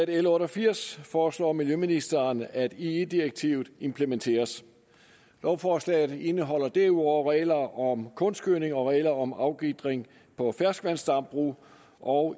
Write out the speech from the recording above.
l otte og firs foreslår miljøministeren at ie direktivet implementeres lovforslaget indeholder derudover regler om kunstgødning og regler om afgitring på ferskvandsdambrug og